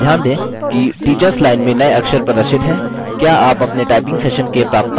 ध्यान दें कि teachers line में नये अक्षर प्रदर्शित हैं